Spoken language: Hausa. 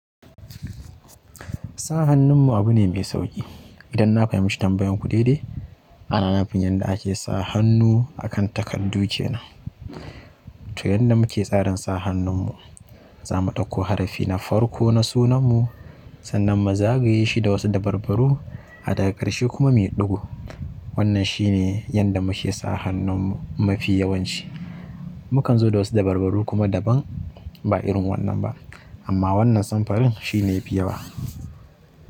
Sa hannun mu abu ne mai sauƙi. Idan na fahimci tambayan ku daidai, ana nufin yadda ake sa hannu akan takardu kenan. To yadda muke tsarin sa hannun mu, za mu ɗauko harafi na farko na sunan mu sannan mu zagaye shi da wasu dabarbaru a daga ƙarshe kuma mu yi ɗigu. Wannan shi ne yadda muke sa hannun mafi yawanci. Mukan zo da wasu dabarbaru kuma daban ba irin wannan ba amma wannan samfurin shi ne fi yawa.